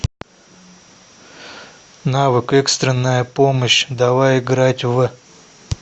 навык экстренная помощь давай играть в